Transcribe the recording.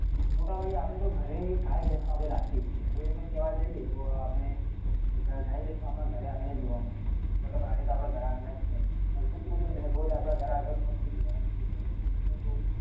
મોટા ભાગે તો આપડે તો ઘરે ગાય ભેંસો આપડે રાખીએ જ છીએ તો એમાં કેવા જઈએ તો આપડે ગાય ભેંસો તો ઘરે આંગળે જ જોવા મળે મતલબ પ્રાણીઓ તો આપડા ઘર આંગળે જ છે. અન કૂતરું તો દરરોઝ આપડા ઘર આગળ ફરતું જ હોય રમતું જ હોય તો